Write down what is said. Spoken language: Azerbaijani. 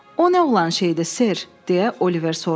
O nə olan şeydir, Ser, deyə Oliver soruşdu.